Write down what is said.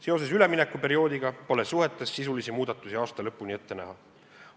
Seoses üleminekuperioodiga pole suhetes sisulisi muudatusi aasta lõpuni ette näha.